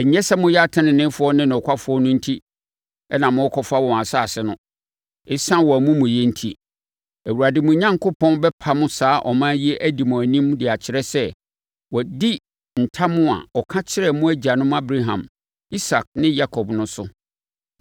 Ɛnyɛ sɛ moyɛ ateneneefoɔ ne nokwafoɔ no enti na morekɔfa wɔn asase no. Esiane wɔn amumuyɛ enti, Awurade, mo Onyankopɔn, bɛpamo saa aman yi adi mo anim de akyerɛ sɛ, wadi ntam a ɔka kyerɛɛ mo agyanom Abraham, Isak ne Yakob no so.